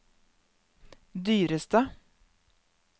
dyreste